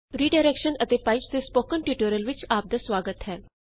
redirection and pipes ਦੇ spoken tutorial ਵਿੱਚ ਆਪ ਦਾ ਸੁਆਗਤ ਹੈ